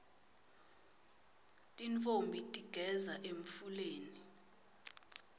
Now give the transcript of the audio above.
tintfombi tigeza emfuleni